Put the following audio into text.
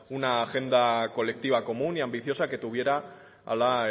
una agenda colectiva común y ambiciosa que tuviera a la